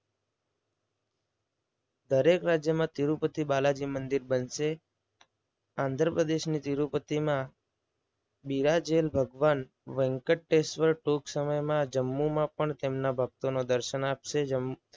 દરેક રાજ્યમાં તિરૂપતિ બાલાજી મંદિર બનશે. આંધ્રપ્રદેશ થી તિરૂપતિમાં બિરાજેલ ભગવાન વેંકટેશ્વર ટૂંક સમયમાં જમ્મુમાં પણ તેમના ભક્તોનો દર્શન આપશે. જેમ